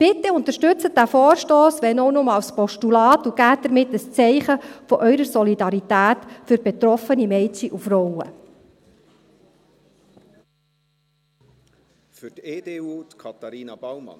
Bitte unterstützen Sie diesen Vorstoss, wenn auch nur als Postulat, und geben Sie damit ein Zeichen Ihrer Solidarität mit betroffenen Mädchen und Frauen.